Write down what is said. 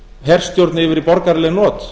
herstjórn yfir í borgaraleg not